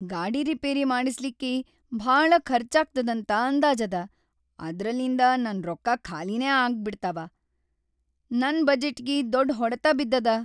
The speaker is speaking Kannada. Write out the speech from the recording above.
ಗಾಡಿ ರಿಪೇರಿ ಮಾಡಸ್ಲಿಕ್ಕಿ ಭಾಳ ಖರ್ಚಾಗ್ತದಂತ ಅಂದಾಜದ, ಅದ್ರಲಿಂದ ನನ್‌ ರೊಕ್ಕಾ ಖಾಲಿನೇ ಆಬಿಡ್ತಾವ. ನನ್‌ ಬಜೆಟ್ಟಿಗಿ ದೊಡ್ ಹೊಡತ್‌ ಬಿದ್ದದ.